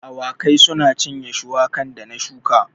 Awakai sun cinye shuwakan da na shuka